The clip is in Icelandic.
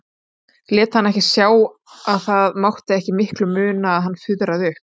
Lét hana ekki sjá að það mátti ekki miklu muna að hann fuðraði upp.